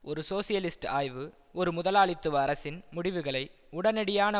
ஒரு சோசியலிஸ்ட் ஆய்வு ஒரு முதலாளித்துவ அரசின் முடிவுகளை உடனடியான